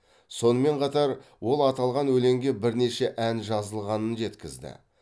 сонымен қатар ол аталған өлеңге бірнеше ән жазылғанын жеткізді